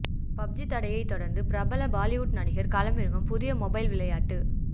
PUBG தடையைத் தொடர்ந்து பிரபல பாலிவுட் நடிகர் களமிறக்கும் புதிய மொபைல் விளையாட்டு